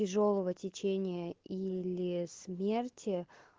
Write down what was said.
тяжёлого течения или смерти